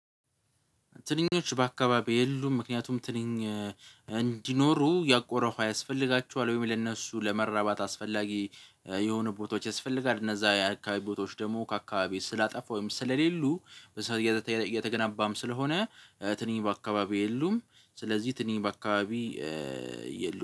ትንኞች በአካባቢው የሉም ምክንያቱም ትንኝ እንዲኖሩ ያቆረፉ ያስፈልጋቸዋል ወይም ለእነሱ ለመራባት አስፈላጊ የሆኑ ቦታዎች ያስፈልጋል እነዛ የአካባቢ ቦታዎች ደግሞ ከአካባቢ ስላጠፋው ወይም ስለሌሉ። እየተገናባም ስለሆነ ትንኝ በአካባቢ የሉም። ስለዚህ ትንኝ በአካባቢ አካባቢ የሉም